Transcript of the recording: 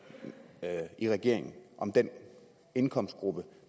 i regeringen om den indkomstgruppe